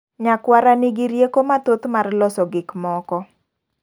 Nyakwara nigi rieko mathoth mar loso gik moko.